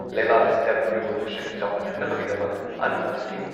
ꯂꯩꯕꯥꯛ ꯑꯁꯤꯗ blue revolution ꯆꯥꯎꯈꯠꯍꯟꯅꯕꯒꯤꯗꯃꯛ ꯑꯅꯧꯕ ꯁꯀꯤꯝ